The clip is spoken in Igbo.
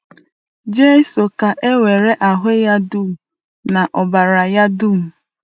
Jizọs ka nwere ahụ́ ya dum na ọbara ya dum.